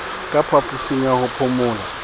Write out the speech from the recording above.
ka phaposing ya ho phomola